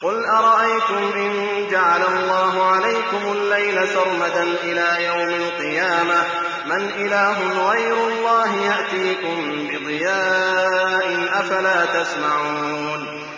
قُلْ أَرَأَيْتُمْ إِن جَعَلَ اللَّهُ عَلَيْكُمُ اللَّيْلَ سَرْمَدًا إِلَىٰ يَوْمِ الْقِيَامَةِ مَنْ إِلَٰهٌ غَيْرُ اللَّهِ يَأْتِيكُم بِضِيَاءٍ ۖ أَفَلَا تَسْمَعُونَ